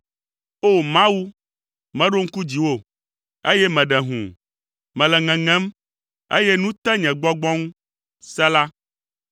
O! Mawu, meɖo ŋku dziwò, eye meɖe hũu. Mele ŋeŋem, eye nu te nye gbɔgbɔ ŋu. Sela